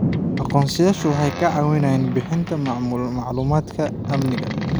Aqoonsiyeyaashu waxay caawiyaan bixinta macluumaadka amniga.